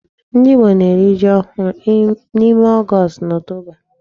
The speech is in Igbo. Ndị Igbo ga-eri ji ohụrụ n'ime August na October.